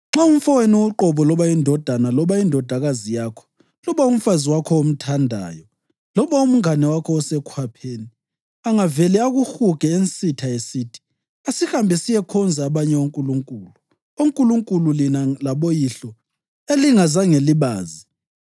Nxa umfowenu uqobo, loba indodana loba indodakazi yakho, loba umfazi wakho omthandayo, loba umngane wakho osekhwapheni, angavele akuhuge ensitha, esithi, ‘Asihambe siyekhonza abanye onkulunkulu’ (onkulunkulu lina laboyihlo elingazange libazi,